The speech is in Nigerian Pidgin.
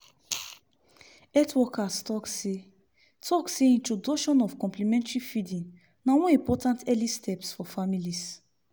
health workers talk seh talk seh introduction of complementary feeding na one important early steps for families